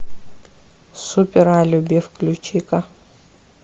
супер алиби включи ка